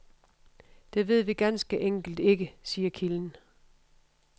Det ved vi ganske enkelt ikke, siger kilden.